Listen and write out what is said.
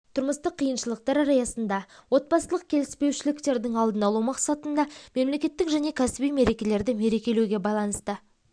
тұрмыстық қиыншылықтар аясында отбасылық келіспеушіліктердің алдын алу мақсатында мемлекеттік және кәсіби мерекелерді мерекелеуге байланысты